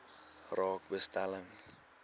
raak belasting